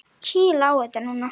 Kýla á þetta núna!